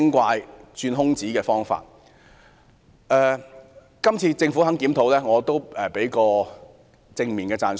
對於這次政府願意進行檢討，我會給予正面讚賞。